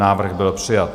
Návrh byl přijat.